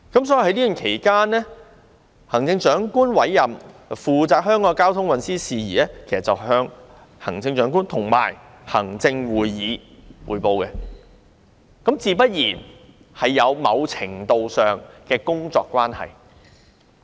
所以，在這段期間，她會向行政長官會同行政會議匯報香港的交通運輸事宜，他們自然有某程度的工作關係。